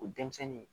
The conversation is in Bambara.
O denmisɛnnin